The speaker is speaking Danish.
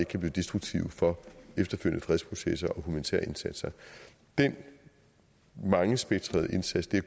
kan blive destruktive for efterfølgende fredsprocesser og humanitære indsatser den mangespektrede indsats det